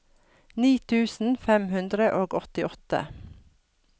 ni tusen fem hundre og åttiåtte